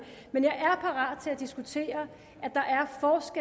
men jeg er parat til at diskutere